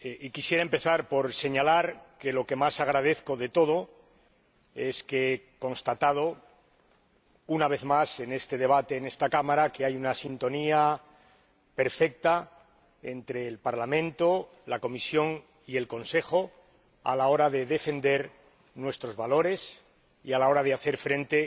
Quisiera empezar por señalar que lo que más agradezco de todo es que he constatado, una vez más, en este debate en esta Cámara que hay una sintonía perfecta entre el Parlamento, la Comisión y el Consejo a la hora de defender nuestros valores y a la hora de hacer frente